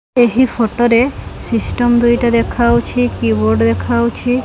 ଏହି ଫଟୋ ରେ ସିଷ୍ଟମ୍ ଦୁଇଟା ଦେଖାହୋଉଛି କି ବୋର୍ଡ ଦେଖାହୋଉଛି।